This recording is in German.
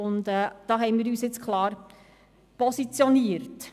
Diesbezüglich haben wir uns nun klar positioniert.